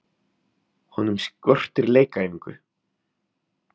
Honum skortir leikæfingu.